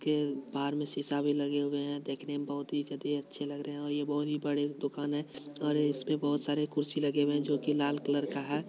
के बाहर मे शीशा भी लगे हुए है देखने मे बहुत ही ज्यादे अच्छे लग रहे है और ये बहुत ही बड़े दुकान है और इसपे बहुत सारे कुर्सी लगे हुए है जो कि लाल कलर का है।